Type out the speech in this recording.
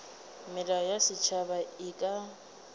melao ya setšhaba e ka